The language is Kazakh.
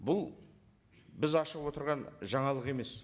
бұл біз ашып отырған жаңалық емес